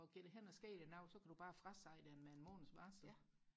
og går der hen og sker noget så kan du bare frasige det med en måneds varsel